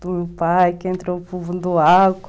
do meu pai, que entrou do álcool.